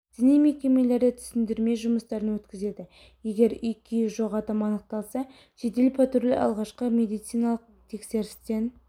діни мекемелерде түсіндірме жұмыстарын өткізеді егер үй-күйі жоқ адам анықталса жедел патруль алғашқы медициналық тексерістен